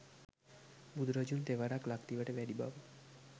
බුදුරජුන් තෙවරක් ලක්දිවට වැඩි බව